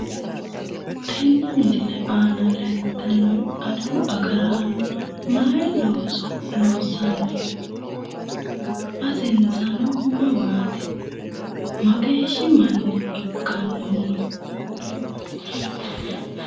Tenne misile. aana leeltannori adawu agaraano maiu looso loossanni no? basensa mamaati? mageeshshi manna ikkannohu no?